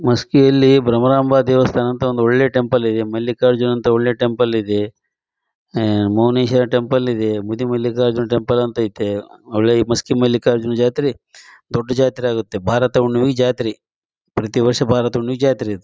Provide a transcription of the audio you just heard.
ಮಸ್ಕಿಯಲ್ಲಿ ಬ್ರಮರಾಂಭ ದೇವಸ್ಥಾನ ಅಂತ ಒಂದು ಒಳ್ಳೆ ಟೆಂಪಲ್‌ ಇದೆ ಮಲ್ಲಿಕಾರ್ಜುನ ಅಂತ ಒಳ್ಳೆ ಟೆಂಪಲ್‌ ಇದೆ. ಮೌನೀಶ್ವರ ಟೆಂಪಲ್‌ ಇದೆ ಮುದಿ ಮಲ್ಲಿಕಾರ್ಜುನ ಟೆಂಪಲ್‌ ಅಂತ ಐತೆ ಮಸ್ಕಿಮಲ್ಲಿಕಾರ್ಜುನ ಜಾತ್ರೆ ದೊಡ್ಡ ಜಾತ್ರೆ ಆಗುತ್ತೆ ಭಾರತ ಹುಣ್ಣಿಮೆಗೆ ಜಾತ್ರೆ ಪ್ರತಿ ವರ್ಷಭಾರತ ಹುಣ್ಣಿಮೆಗೆ ಜಾತ್ರೆ ಅದು.